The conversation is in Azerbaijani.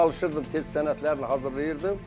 Çalışırdım tez sənədlərini hazırlayırdım.